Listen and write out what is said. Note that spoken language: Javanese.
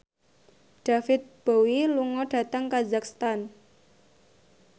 David Bowie lunga dhateng kazakhstan